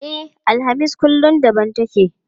E, alhamis kullum daban take.